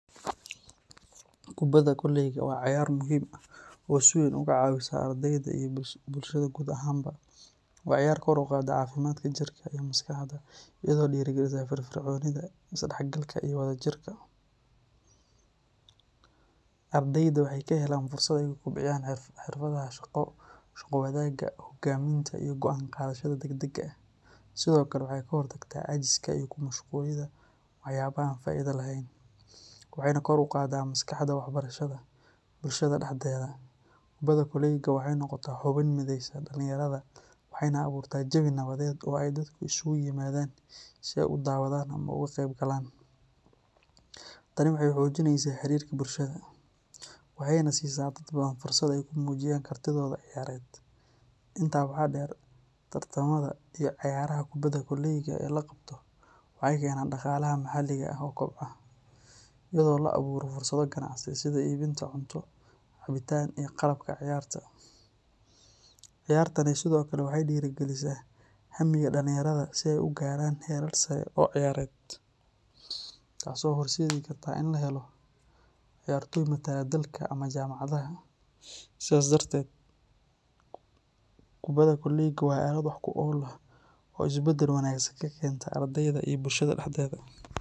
Kubadda kolayga waa cayaar muhiim ah oo si weyn uga caawisa ardeyda iyo bulshada guud ahaanba. Waa ciyaar kor u qaadda caafimaadka jirka iyo maskaxda, iyadoo dhiirrigelisa firfircoonida, isdhexgalka, iyo wadajirka. Ardeyda waxay ka helaan fursad ay ku kobciyaan xirfadaha shaqo wadaagga, hoggaaminta, iyo go’aan qaadashada degdega ah. Sidoo kale waxay ka hortagtaa caajiska iyo ku mashquulidda waxyaabaha aan faa’iidada lahayn, waxayna kor u qaaddaa maskaxda waxbarashada. Bulshada dhexdeeda, kubadda kolayga waxay noqotaa xubin mideysa dhalinyarada, waxayna abuurtaa jawi nabadeed oo ay dadku isugu yimaadaan si ay u daawadaan ama uga qeybgalaan. Tani waxay xoojinaysaa xiriirka bulshada, waxayna siisaa dad badan fursad ay ku muujiyaan kartidooda ciyaareed. Intaa waxaa dheer, tartamada iyo ciyaaraha kubadda kolayga ee la qabto waxay keenaan dhaqaalaha maxalliga ah oo kobca, iyadoo la abuuro fursado ganacsi sida iibinta cunto, cabitaan, iyo qalabka ciyaarta. Ciyaartani sidoo kale waxay dhiirrigelisaa hammiga dhalinyarada si ay u gaaraan heerar sare oo ciyaareed, taasoo horseedi karta in la helo ciyaartoy matala dalka ama jaamacadaha. Sidaas darteed, kubadda kolayga waa aalad wax ku ool ah oo isbeddel wanaagsan ka keenta ardeyda iyo bulshada dhexdeeda.